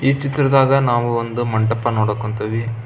ಈ ಚಿತ್ರದಾಗ ನಾವು ಒಂದು ಮಂಟಪ ನೋಡಕ್ ಕುಂತೀವಿ.